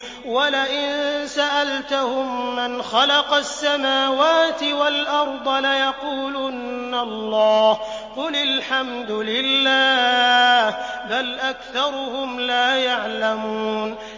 وَلَئِن سَأَلْتَهُم مَّنْ خَلَقَ السَّمَاوَاتِ وَالْأَرْضَ لَيَقُولُنَّ اللَّهُ ۚ قُلِ الْحَمْدُ لِلَّهِ ۚ بَلْ أَكْثَرُهُمْ لَا يَعْلَمُونَ